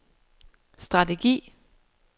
strategi